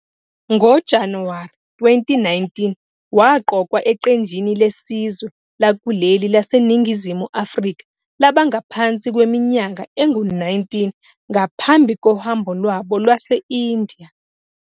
NgoJanuwari 2019, waqokwa eqenjini lesizwe lakuleli laseNingizimu Afrika labangaphansi kweminyaka engu-19, ngaphambi kohambo lwabo lwase-India.